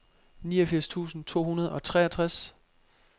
niogfirs tusind to hundrede og treogtres